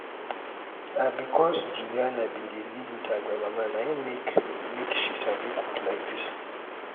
na because say juliana bin dey live with her grandmama na im make make she sabi cook like dis